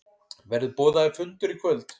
Verður boðaður fundur í kvöld?